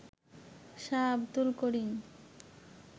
Shah Abdul Karim